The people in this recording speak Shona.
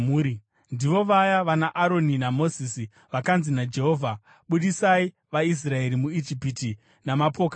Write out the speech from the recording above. Ndivo vaya vanaAroni naMozisi vakanzi naJehovha, “Budisai vaIsraeri muIjipiti namapoka avo.”